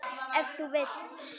Ef þú vilt.